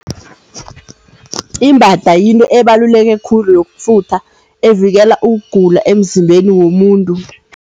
Imbada yinto ebaluleke khulu yokufutha evikela ukugula emzimbeni womuntu.